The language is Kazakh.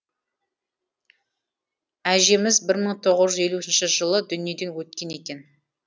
әжеміз бір мың тоғыз жүз елуінші жылы дүниеден өткен екен